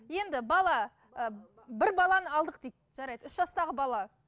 енді бала і бір баланы алдық дейік жарайды үш жастағы бала